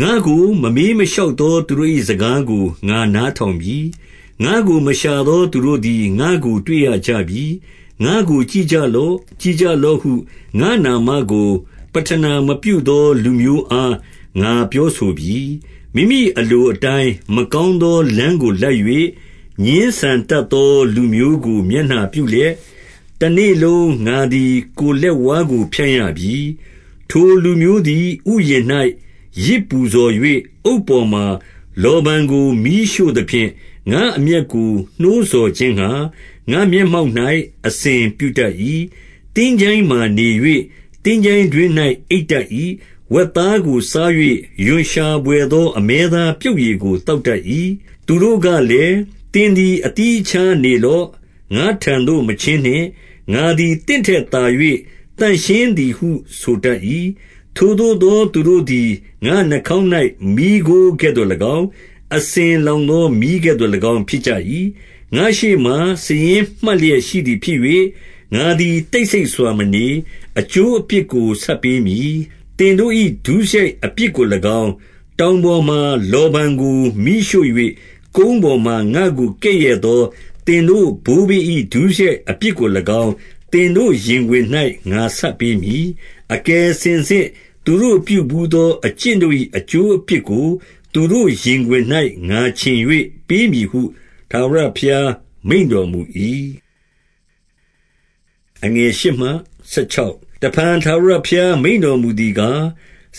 ငါ့ကိုမမေးမလျှောက်သောသူတို့၏ စကားကို ငါနားထောင်ပြီ။ ငါ့ကိုမရှာသောသူတို့သည် ငါ့ကိုတွေ့ရ ကြပြီ။ ငါ့ကိုကြည့်ကြလော့။ ကြည့်ကြလော့ဟု ငါ့နာမကို ပဌနာမပြုသောလူမျိုးအား ငါပြောဆိုပြီ။ 2 မိမိအလိုအတိုင်း မကောင်းသောလမ်းကို လိုက်၍၊ ငြင်းဆန်တတ်သော လူမျိုးကို မျက်နှာပြုလျက်၊ တနေ့လုံး ငါသည် ကိုယ်လက်ဝါးကိုဖြန့် ရပြီ။ 3 ထိုလူမျိုးသည် ဥယျာဉ်၌ ယဇ်ပူဇော်၍၊ အုတ်ပေါ်မှာ လောဗန်ကို မီးရှို့သဖြင့်၊ ငါ့အမျက်ကို နှိုးဆော် ခြင်းငှါ၊ ငါ့မျက်မှောက်၌ အစဉ်ပြုတတ်၏။ 4 သင်္ချိုင်းမှာနေ၍၊ သင်္ချိုင်းတွင်း၌ အိပ်တတ်၏။ ဝက်သားကို စား၍၊ ရွံ့ရှာဘွယ်သော အမဲသားပြုတ်ရည် ကို သောတတ်၏။ 5 သူတို့ကလည်း၊ သင်သည် အသီးအခြားနေလော့။ ငါ့ထံသို့ မချဉ်းနှင့်။ ငါသည်သင့်ထက်သာ၍ သန့်ရှင်းသည်ဟု ဆိုတတ်၏။ ထိုသို့သော သူတို့သည် ငါ့နှာခေါင်း၌ မီးခိုးကဲ့သို့၎င်း၊ အစဉ်လောင်သောမီးကဲ့သို့ ၎င်း ဖြစ်ကြ၏။ 6 ငါ့ရှေ့မှာ စာရင်းမှတ်လျက်ရှိသည်ဖြစ်၍၊ ငါသည် တိတ်ဆိတ်စွာမနေ၊ အကျိုးအပြစ်ကို ဆပ်ပေးမည်။ 7 သင်တို့၏ ဒုစရိုက်အပြစ်ကို၎င်း၊ တောင်ပေါ်မှာ လောဗန်ကို မီးရှို့၍၊ ကုန်းပေါ်မှာ ငါ့ကိုကဲ့ရဲ့သော သင်တို့ ဘိုးဘေး၏ ဒုစရိုက်အပြစ်ကို၎င်း သင်တို့ရင်ခွင်၌ ငါဆပ်ပေးမည်။ အကယ်စင်စစ်သူတို့ပြုဘူးသော အကျင့် တို့၏ အကျိုးအပြစ်ကို သူတို့ရင်ခွင်၌ ငါခြင်၍ ပေးမည်ဟု၊ ထာဝရဘုရားမိန့်တော်မူ၏။ 8 တဖန်ထာဝရဘုရား မိန့်တော်မူသည်ကား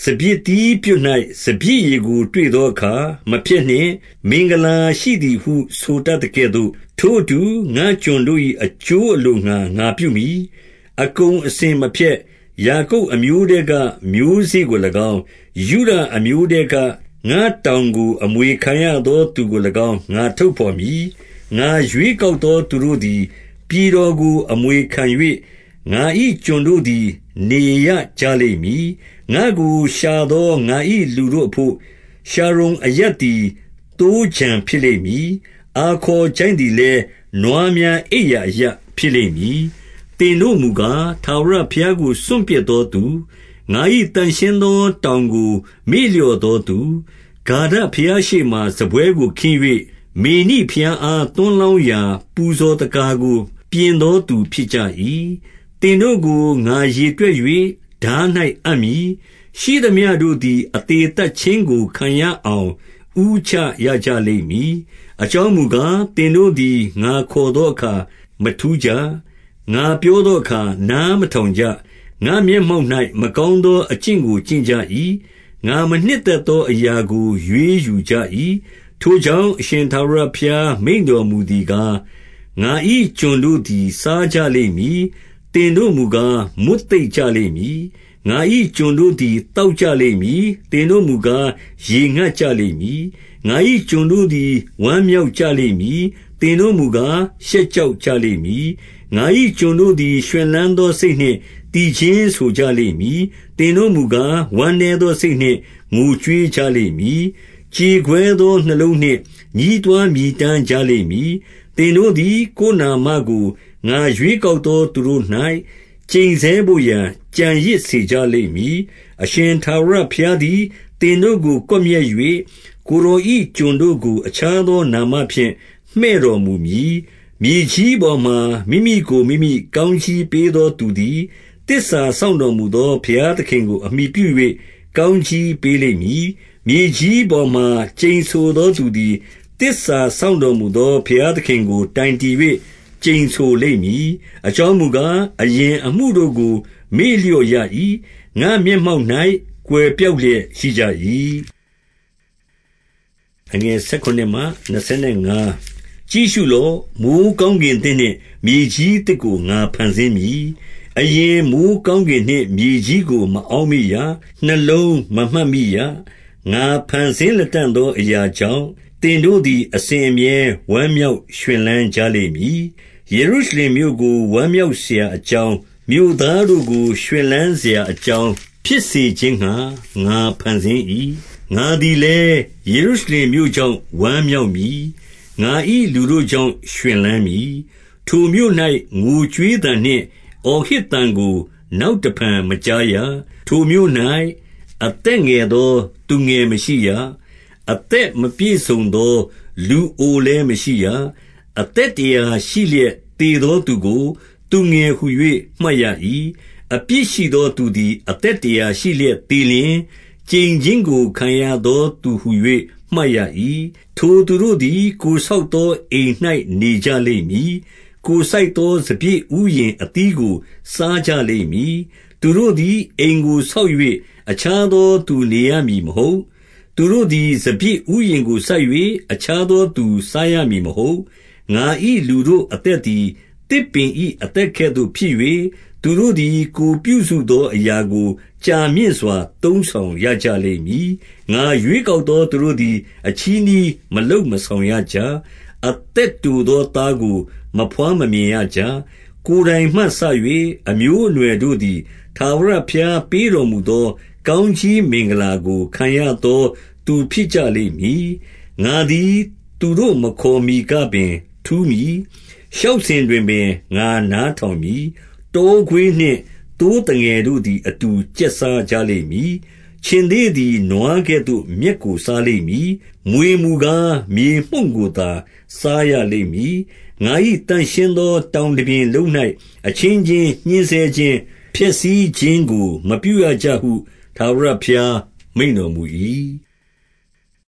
၊ စပျစ်သီးပြွတ်၌ စပျစ်ရည်ကို တွေ့သောအခါ မဖျက်နှင့်၊ မင်္ဂလာရှိသည်ဟု ဆိုတတ်သကဲ့သို့၊ ထိုအတူ၊ ငါ့ကျွန်တို့၏ အကျိုးအလိုငှါ ငါပြုမည်။ အကုန်အစင်မဖျက်။ 9 ယာကုပ်အမျိုးထဲက မျိုးစေ့ကို၎င်း၊ ယုဒအမျိုးထဲက ငါ့တောင်ကို အမွေခံရသောသူကို၎င်း ငါထုတ်ဘော် မည်။ ငါရွေးကောက်သော သူတို့သည် ပြည်တော်ကို အမွေခံ၍၊ ငါ၏ကျွန်တို့သည် နေရကြလိမ့်မည်။ 10 ငါ့ကိုရှာသော ငါ၏လူတို့အဘို့၊ ရှာရုန်အရပ်သည် သိုးခြံဖြစ်လိမ့်မည်။ အာခေါ်ချိုင့်သည်လည်း နွားများ အိပ်ရာအရပ်ဖြစ်လိမ့်မည်။ 11 သင်တို့မူကား၊ ထာဝရဘုရားကိုစွန့်ပစ်သောသူ၊ ငါ၏သန့်ရှင်းသော တောင်ကိုမေ့လျော့သောသူ၊ ဂါဒ ဘုရားရှေ့မှာ စားပွဲကိုခင်း၍၊ မေနိဘုရားအား သွန်းလောင်းရာ ပူဇော်သက္ကာကို ပြင်သောသူ ဖြစ်ကြ၏။ 12 သင်တို့ကို ငါရေတွက်၍၊ ထား၌အပ်မည်။ ရှိသမျှတို့သည် အသေသတ်ခြင်းကိုခံရအောင် ဦးချရကြ လိမ့်မည်။ အကြောင်းမူကား၊ သင်တို့သည် ငါခေါ်သော အခါမထူးကြ။ ငါပြောသောအခါ နားမထောင်ကြ။ ငါ့ မျက်မှောက်၌ မကောင်းသော အကျင့်ကို ကျင့်ကြ၏။ ငါမနှစ်သက်သော အရာကို ရွေးယူကြ၏။ 13 ထိုကြောင့်၊ အရှင်ထာဝရဘုရား မိန့်တော်မူသည်ကား၊ ငါ၏ကျွန်တို့သည် စားကြလိမ့်မည်။ သင်တို့ မူကား၊ မွတ်သိပ်ကြလိမ့်မည်။ ငါ၏ကျွန်တို့သည် သောက်ကြလိမ့်မည်။ သင်တို့မူကား၊ ရေငတ်ကြလိမ့်မည်။ ငါကျွန် တို့သည် ဝမ်းမြောက်ကြလိမ့်မည်။ သင်တို့မူကား၊ ရှက် ကြောက်ကြလိမ့်မည်။ 14 ငါ၏ကျွန်တို့သည် ရွှင်လန်းသော စိတ်နှင့် သီချင်းဆိုကြလိမ့်မည်။ သင်တို့မူကား၊ ဝမ်းနည်းသောစိတ် နှင့် ငိုကြွေးကြလိမ့်မည်။ ကြေကွဲသော နှလုံးနှင့် ညဉ်းတွား မြည်တမ်းကြလိမ့်မည်။ 15 သင်တို့သည် ကိုယ်နာမကို၊ ငါရွေးကောက်သော သူတို့၌ ကျိန်ဆဲဘို့ရာ ကျန်ရစ်စေကြလိမ့်မည်။ အရှင် ထာဝရဘုရားသည် သင်တို့ကို ကွပ်မျက်၍၊ ကိုယ်တော်၏ ကျွန်တို့ကို အခြားသောနာမဖြင့် မှည့်တော်မူမည်။ 16 မြေကြီးပေါ်မှာ မိမိကို မိမိကောင်းကြီးပေးသော သူသည်၊ သစ္စာစောင့်တော်မူသော ဘုရားသခင်ကို အမှီပြု၍ ကောင်းကြီးပေးလိမ့်မည်။ မြေကြီးပေါ်မှာ ကျိန်ဆိုသောသူသည်၊ သစ္စာစောင့်တော်မူသော ဘုရားသခင် ကို တိုင်တည်၍ ကျိန်ဆိုလိမ့်မည်။ အကြောင်းမူကား၊ အရင်အမှုတို့ကို မေ့လျော့ရ၏။ ငါ့မျက်မှောက်၌ ကွယ် ပျောက်လျက်ရှိကြ၏။ 17 ကြည့်ရှုလော့။ မိုဃ်းကောင်းကင်သစ်နှင့် မြေကြီးသစ်ကို ငါဖန်ဆင်းမည်။ အရင်မိုဃ်းကောင်းကင် နှင့်မြေကြီးကို မအောက်မေ့ရ။ နှလုံးမမှတ်မိရ။ 18 ငါဖန်ဆင်းလတံ့သောအရာကြောင့်၊ သင်တို့ သည် အစဉ်အမြဲ ဝမ်းမြောက်ရွှန်လန်းကြလိမ့်မည်။ ယေရု ရှလင်မြို့ကို ဝမ်းမြောက်စရာအကြောင်း၊ မြို့သားတို့ကို ရွှင်လန်းစရာအကြောင်းဖြစ်စေခြင်းငှါ ငါဖန်ဆင်း၏။ 19 ငါသည်လည်း ယေရုရှလင်မြို့ကြောင့် ဝမ်းမြောက်မည်။ ငါ၏လူတို့ကြောင့် ရွှင်လန်းမည်။ ထိုမြို့၌ ငိုကြွေးသံနှင့် အော်ဟစ်သံကို နောက်တဖန်မကြားရ။ 20 ထိုမြို့၌ အသက်ငယ်သောသူငယ်မရှိရ။ မသက် မပြည့်စုံသော လူအိုလည်းမရှိရ။ အသက်တရာရှိလျက် သေသောသူကို သူငယ်ဟူ၍မှတ်ရ၏။ အပြစ်ရှိသော သူသည် အသက်တရာရှိလျက်သေလျှင်၊ ကျိန်ခြင်းကို ခံရသောသူဟူ၍မှတ်ရ၏။ 21 ထိုသူတို့သည် ကိုယ်ဆောက်သောအိမ်၌ နေကြလိမ့်မည်။ ကိုယ်စိုက်သော စပျစ်ဥယျာဉ်အသီးကို စားကြ လိမ့်မည်။ 22 သူတို့သည် အိမ်ကို ဆောက်၍ အခြားသောသူ နေရမည်မဟုတ်။ သူတို့သည် စပျစ်ဥယျာဉ်ကိုစိုက်၍ အခြားသောသူစားရမည်မဟုတ်။ ငါ၏ လူတို့အသက်သည် သစ်ပင်၏အသက်ကဲ့သို့ဖြစ်၍၊ သူတို့သည် ကိုယ်ပြုစုသောအရာကို ကြာမြင့်စွာ သုံးဆောင်ရကြ လိမ့်မည်။ 23 ငါရွေးကောက်သော သူတို့သည် အချည်းနှီး မလုပ်မဆောင်ရကြ။ အသက်တိုသော သားကိုမဘွား မမြင်ရကြ။ ကိုယ်တိုင်မှစ၍ အမျိုးအနွယ်တို့သည်၊ ထာဝရဘုရားပေးတော်မူသော ကောင်းကြီးမင်္ဂလာကို ခံရသောသူဖြစ်ကြလိမ့်မည်။ 24 ငါသည် သူတို့မခေါ်မှီကပင် ထူးမည်။ လျှောက် စဉ်တွင်ပင် ငါနားထောင်မည်။ 25 တောခွေးနှင့် သိုးသငယ်တို့သည် အတူကျက် စားကြလိမ့်မည်။ ခြင်္သေ့သည်နွားကဲ့သို့ မြက်ကိုစားလိမ့် မည်။ မြွေမူကား၊ မြေမှုန့်ကိုသာ စားရလိမ့်မည်။ ငါ၏ သန့်ရှင်းသောတောင်တပြင်လုံး၌ အချင်းချင်း ညှဉ်းဆဲ ခြင်း၊ ဖျက်ဆီးခြင်းကို မပြုရကြဟု ထာဝရဘုရား မိန့်တော် မူ၏။